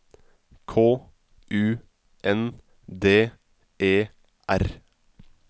K U N D E R